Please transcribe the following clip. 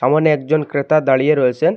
সামোনে একজন ক্রেতা দাঁড়িয়ে রয়েসেন।